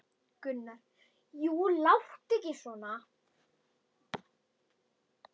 Gunnar: Jú, láttu ekki svona.